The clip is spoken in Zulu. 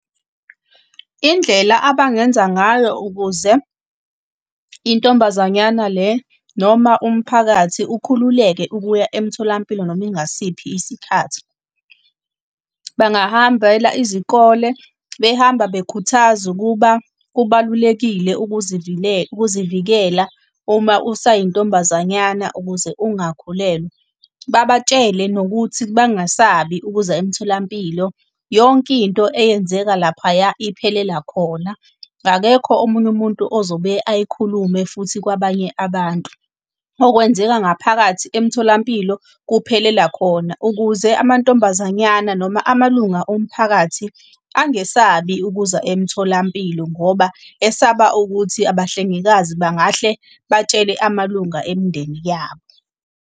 Indlela abangenza ngayo ukuze intombazanyana le noma umphakathi ukhululeke ukuya emtholampilo noma ingasiphi isikhathi. Bangahambela izikole, behamba bekhuthaze ukuba kubalulekile ukuzivikela uma usayintombazanyana ukuze ungakhulelwa. Babatshele nokuthi bangasabi ukuza emtholampilo, yonke into eyenzeka laphaya iphelela khona, akekho omunye umuntu ozobe ayikhulume futhi kwabanye abantu. Okwenzeka ngaphakathi emtholampilo kuphelela khona, ukuze amantombazanyana noma amalunga omphakathi angesabi ukuza emtholampilo ngoba esaba ukuthi abahlengikazi bangahle batshele amalunga emindeni yabo.